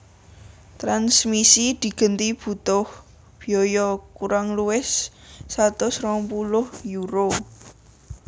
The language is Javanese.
Tranmisi digenti butuh biaya kurang luwih satus rong puluh euro